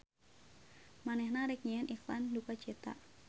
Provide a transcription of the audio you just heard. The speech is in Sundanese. Manehna rek nyieun iklan dukacita.